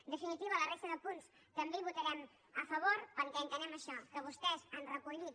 en definitiva a la resta de punts també hi votarem a favor perquè entenem això que vostès han recollit